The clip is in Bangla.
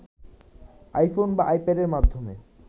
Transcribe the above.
আইফোন বা আইপ্যাডের মাধ্যমে